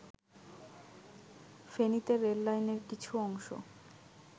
ফেনীতে রেললাইনের কিছু অংশ